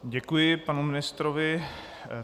Děkuji panu ministrovi.